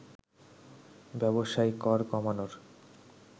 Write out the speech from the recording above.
ব্যবসায় কর কমানোর